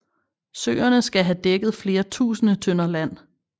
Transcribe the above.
Søerne skal have dækket flere tusinde tønder land